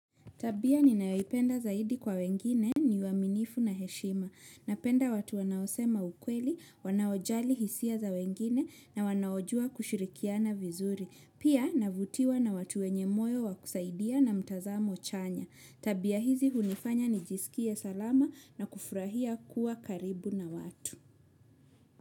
Tabia ninayoipenda zaidi kwa wengine ni uaminifu na heshima. Napenda watu wanaosema ukweli, wanaojali hisia za wengine na wanaojua kushirikiana vizuri. Pia navutiwa na watu wenye moyo wa kusaidia na mtazamo chanya. Tabia hizi hunifanya nijisikie salama na kufurahia kuwa karibu na watu.